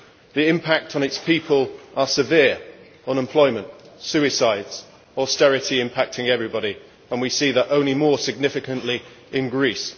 The impacts on its people are severe unemployment, suicides, austerity impacting everybody and we see that only more significantly in Greece.